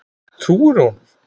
Trúirðu honum?